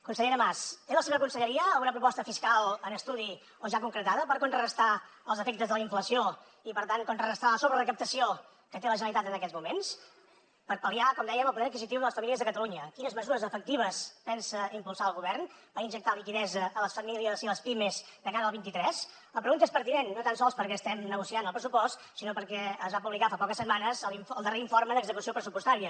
consellera mas té la seva conselleria alguna proposta fiscal en estudi o ja concretada per contrarestar els efectes de la inflació i per tant contrarestar la sobrerecaptació que té la generalitat en aquests moments per pal·liar com dèiem el poder adquisitiu de les famílies de catalunya quines mesures efectives pensa impulsar el govern per injectar liquiditat a les famílies i a les pimes de cara al vint tres la pregunta és pertinent no tan sols perquè estem negociant el pressupost sinó perquè es va publicar fa poques setmanes el darrer informe d’execució pressupostària